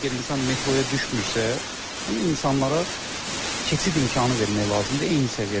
Əgər insan metroya düşmürsə, yəni insanlara keçid imkanı vermək lazımdır eyni səviyyədə.